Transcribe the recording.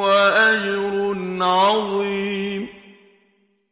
وَأَجْرٌ عَظِيمٌ